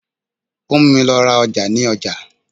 Ó múmi lọ ra ọjà ní ọjà.